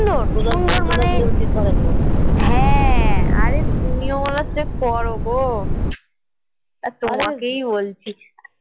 সুন্দর মানে হ্যাঁ আরে তুমিও করো গো আর তোমাকেই বলছি